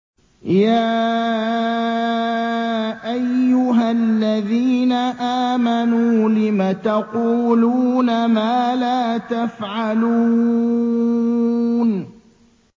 يَا أَيُّهَا الَّذِينَ آمَنُوا لِمَ تَقُولُونَ مَا لَا تَفْعَلُونَ